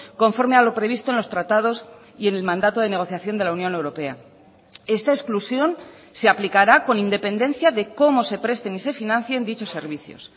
conforme a lo previsto en los tratados y en el mandato de negociación de la unión europea esta exclusión se aplicará con independencia de cómo se presten y se financien dichos servicios